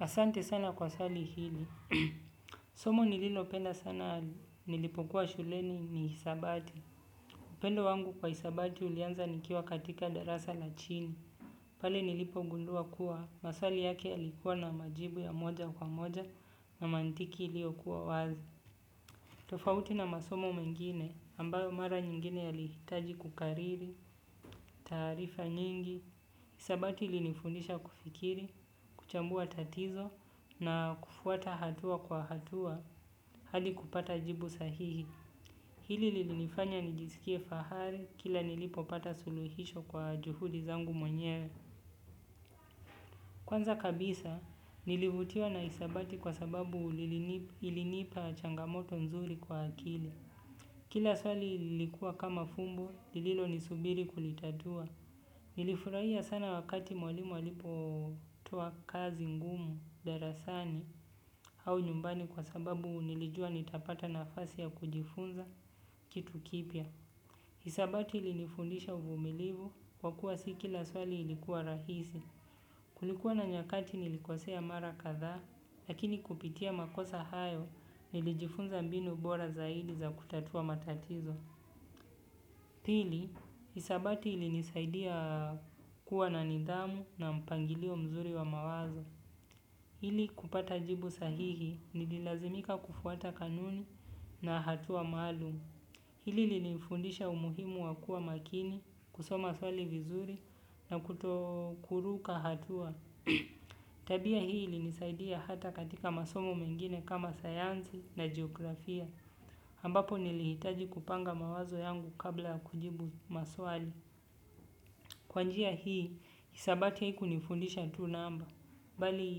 Asante sana kwa swali hili. Somo nililopenda sana nilipokuwa shuleni ni hisabati. Upendo wangu kwa hisabati ulianza nikiwa katika darasa la chini. Pale nilipogundua kuwa maswali yake ya likuwa na majibu ya moja kwa moja na mantiki iliyo kuwa wazi. Tofauti na masomo mengine ambayo mara nyingine yalihitaji kukariri, taarifa nyingi. Hisabati ilinifundisha kufikiri, kuchambua tatizo na kufuata hatua kwa hatua hadi kupata jibu sahihi. Hili lilinifanya nijiskie fahari kila nilipopata suluhisho langu mwenyewe. Kwanza kabisa, nilivutiwa na hisabati kwa sababu ilinipa changamoto nzuri kwa akili. Kila swali lilikua kama fumbo, lililo nisubiri kulitatua. Nilifurahia sana wakati mwalimu alipo toa kazi ngumu darasani au nyumbani kwa sababu nilijua nitapata nafasi ya kujifunza kitu kipya. Hisabati ilinifundisha uvumilivu kwa kuwa si kila swali ilikuwa rahisi. Kulikuwa na nyakati nilikosea mara kadhaa lakini kupitia makosa hayo nilijifunza mbinu bora zaidi za kutatua matatizo. Pili, hisabati ili nisaidia kuwa na nidamu na mpangilio mzuri wa mawazo. Ili kupata jibu sahihi nililazimika kufuata kanuni na hatua maalumu. Hili lilinifundisha umuhimu wa kuwa makini kusoma swali vizuri na kuto kuruka hatua. Tabia hii ili nisaidia hata katika masomo mengine kama sayansi na jiografia. Ambapo nilihitaji kupanga mawazo yangu kabla ya kujibu maswali kwa njia hii, hisabati haiku nifundisha tu namba bali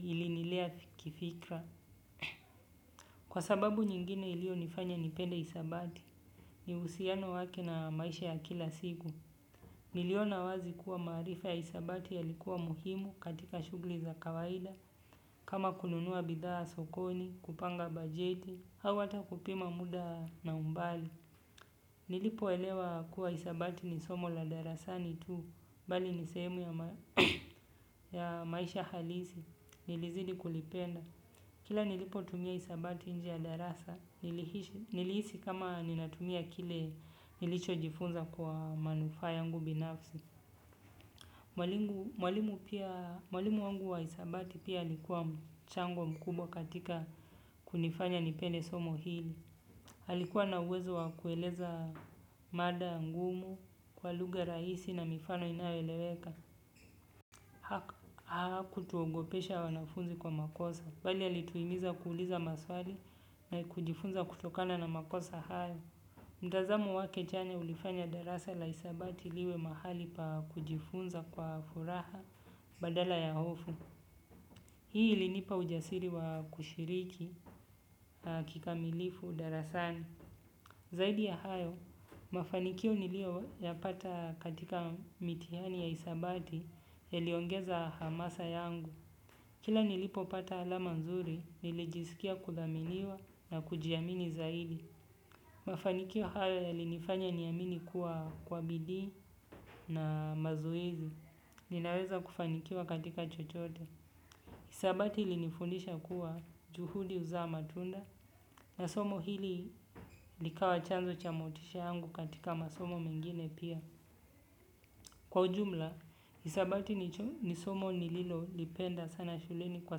ilinilea kifikra kwa sababu nyingine ilio nifanya nipende isabati ni uhusiano wake na maisha ya kila siku niliona wazi kuwa maarifa ya hisabati ya likuwa muhimu katika shughuli za kawaida kama kununua bidhaa sokoni, kupanga bajeti au hata kupima muda na umbali. Nilipo elewa kuwa hisabati ni somo la darasani tu, bali ni sehemu ya maisha halisi, nilizidi kulipenda. Kila nilipo tumia hisabati nje ya darasa, nilihisi kama ninatumia kile nilicho jifunza kwa manufaa yangu binafsi. Mwalimu wangu wa hisabati pia alikuwa mchango mkubwa katika kunifanya nipende somo hili. Alikuwa na uwezo wa kueleza mada ngumu kwa lugha rahisi na mifano inayoeleweka hakutuogopesha wanafunzi kwa makosa. Bali alituhimiza kuuliza maswali na kujifunza kutokana na makosa hayo. Mtazamu wake chanya ulifanya darasa la hisabati liwe mahali pa kujifunza kwa furaha badala ya hofu. Hii ilinipa ujasiri wa kushiriki kikamilifu darasani. Zaidi ya hayo, mafanikio nilio ya pata katika mitihani ya hisabati ya liongeza hamasa yangu. Kila nilipopata alama nzuri nilijiskia kuthaminiwa na kujiamini zaidi. Mafanikio hayo ya linifanya niamini kuwa kwa bidii na mazoezi, ninaweza kufanikiwa katika chochote. Hisabati ilinifundisha kuwa juhudi huzaa matunda na somo hili likawa chanzo cha motisha yangu katika masomo mengine pia. Kwa ujumla, hisabati ni somo nililo lipenda sana shuleni kwa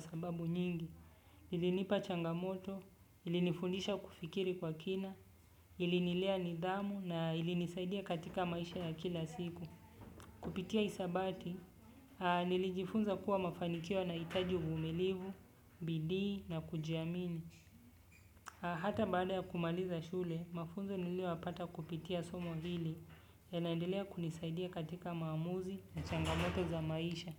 sababu nyingi. Ilinipa changamoto, ilinifundisha kufikiri kwa kina, ilinilea nidhamu na ilinisaidia katika maisha ya kila siku. Kupitia hisabati, nilijifunza kuwa mafanikio yanahitaji uvumilivu, bidii na kujiamini. Hata baada ya kumaliza shule, mafunzo niliyoyapata kupitia somo hili ya naendelea kunisaidia katika maamuzi na changamoto za maisha.